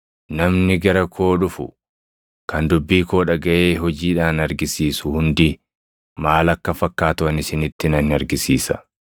Namni gara koo dhufu, kan dubbii koo dhagaʼee hojiidhaan argisiisu hundi maal akka fakkaatu ani isinitti nan argisiisa.